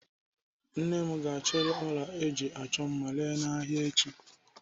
Nne m ga-achịrị ọla ọ ji achọ mma ere n'ahịa echi.